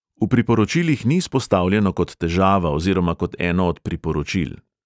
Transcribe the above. V priporočilih ni izpostavljeno kot težava oziroma kot eno od priporočil.